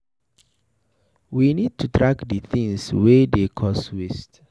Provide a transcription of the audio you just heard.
We need to track di things wey dey cause waste